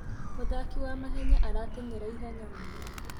Mũthaki wa mahenya arateng'era ihenya mũno